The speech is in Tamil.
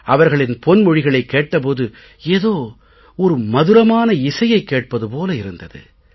அவர்களின் பொன்மொழிகளைக் கேட்ட போது ஏதோ ஒரு மதுரமான இசையைக் கேட்பது போலிருந்தது